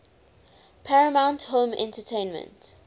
paramount home entertainment